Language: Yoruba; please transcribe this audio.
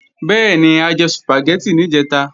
Bẹ́ẹ̀ni, a jẹ Sùpàgẹ́tì níjẹ̀ta